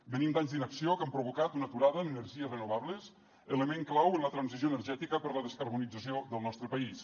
venim d’anys d’inacció que han provocat una aturada en energies renovables element clau en la transició energètica per la descarbonització del nostre país